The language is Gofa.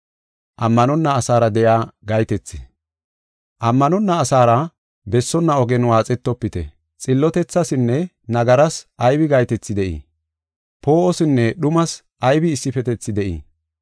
Ammanonna asaara bessonna ogen waaxettofite. Xillotethasinne nagaras aybi gahetethi de7ii? Poo7osinne dhumas aybi issifetethi de7ii?